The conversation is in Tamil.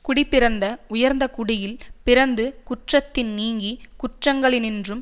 குடிப்பிறந்து உயர்ந்த குடியில் பிறந்து குற்றத்தின் நீங்கி குற்றங்களினின்று